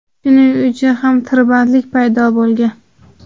Shuning uchun ham tirbandlik paydo bo‘lgan.